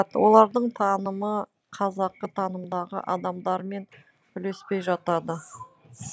олардың танымы қазақы танымдағы адамдармен үйлеспей жатады